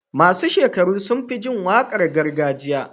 masu shekaru sunfi jin waƙar gargajiya